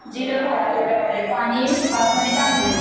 जिरं घालायचं थोडं आणि बासमती तांदूळ